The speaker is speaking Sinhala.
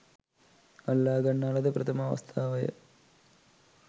අල්ලා ගන්නා ලද ප්‍රථම අවස්ථාවය.